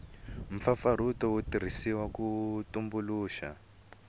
mpfapfarhuto wu tirhisiwile ku tumbuluxa